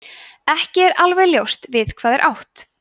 ekki er alveg ljóst við hvað er átt